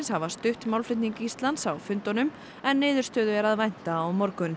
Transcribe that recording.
hafa stutt málflutning Íslands á fundunum en niðurstöðu er að vænta á morgun